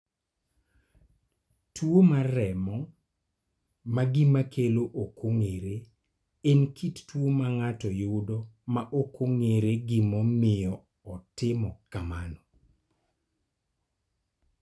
Tuo remo ma gima kelo ok ong'ere en kit tuo ma ng�ato yudo ma ok ong�ere gima omiyo otimo kamano.